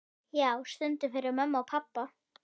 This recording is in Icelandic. Já, stundum fyrir mömmu og pabba.